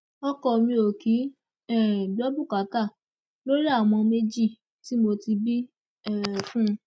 ọkọ mi ò kì í um gbọ bùkátà lórí àwọn ọmọ méjì tí mo ti bí um fún un